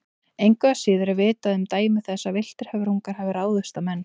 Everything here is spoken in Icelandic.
Engu að síður er vitað um dæmi þess að villtir höfrungar hafi ráðist á menn.